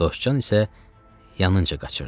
Dostcan isə yanınca qaçırdı.